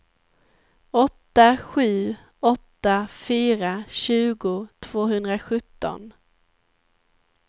åtta sju åtta fyra tjugo tvåhundrasjutton